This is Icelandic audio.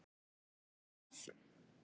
Mundu það!